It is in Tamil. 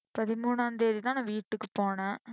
பதிமூணாம் தேதிதான் நான் வீட்டுக்கு போனேன்.